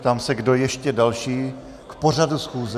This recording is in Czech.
Ptám se, kdo ještě další k pořadu schůze.